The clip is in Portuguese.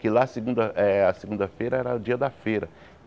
Que lá segunda eh a segunda-feira era o dia da feira.